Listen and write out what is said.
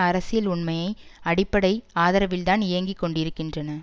அரசியல் உண்மையை அடிப்படை ஆதரவில்தான் இயங்கிக்கொண்டிருக்கின்றன